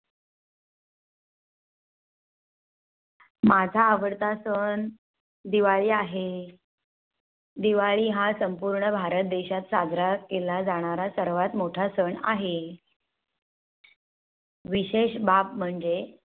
माझा आवडता सण दिवाळी आहे. दिवाळी हा सण संपूर्ण भारत देशात साजरा केला जाणारा सर्वात मोठा सण आहे विशेष बाब म्हणजे